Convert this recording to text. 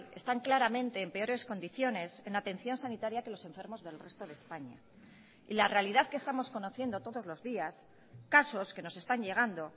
están claramente en peores condiciones en atención sanitaria que los enfermos del resto de españa y la realidad que estamos conociendo todos los días casos que nos están llegando